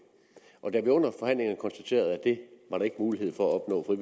og da vi under forhandlingerne konstaterede at det var der ikke mulighed for at opnå en